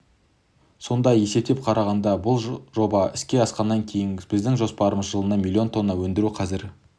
сонда есептеп қарағанда бұл жоба іске асқаннан кейін біздің жоспарымыз жылына миллион тонна өндіру қазір